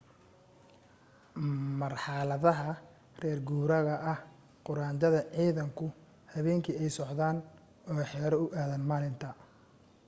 marxaladaha reer guuraaga ah quraanjada ciidanku habeenkii ayay socodaan oo xero u aadaan maalinta